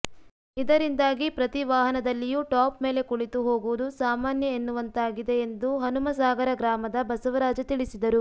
ಇದರಿಂದಾಗಿ ಪ್ರತಿ ವಾಹನದಲ್ಲಿಯೂ ಟಾಪ್ ಮೇಲೆ ಕುಳಿತು ಹೋಗುವುದು ಸಾಮಾನ್ಯ ಎನ್ನುವಂತಾಗಿದೆ ಎಂದು ಹನುಮಸಾಗರ ಗ್ರಾಮದ ಬಸವರಾಜ ತಿಳಿಸಿದರು